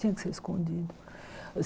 Tinha que ser escondido.